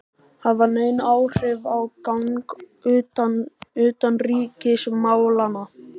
hafa nein áhrif á gang utanríkismálanna.